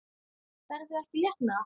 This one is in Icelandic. Ferðu ekki létt með það?